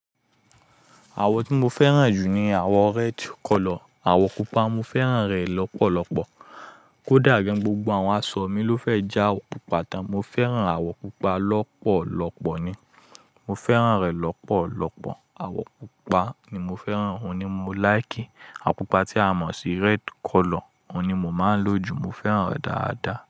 Àwọ̀ tí mo fẹ́ràn jù ni àwọ̀ red color, àwọ̀ pupa. Mo fẹ́ràn rẹ̀ lọ́pọ̀lọ́pọ̀. Kódà gan gbogbo àwọn aṣọ mi ló fẹ́ jẹ́ àwọ̀ pupa tán. Mo fẹ́ràn àwọ̀ pupa lọ́pọ̀lọ́pọ̀ ni. Mo fẹ́ràn rẹ̀ lọ́pọ̀lọ́pọ̀. Àwọ̀ pupa ni mo fẹ́ràn, òun ni mo like. Àpupa tí a mọ̀ sí red color, òun ni mo máa ń lò jù. Mo fẹ́ràn rẹ̀ dáadáa.